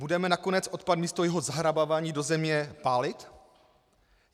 Budeme nakonec odpad místo jeho zahrabávání do země pálit?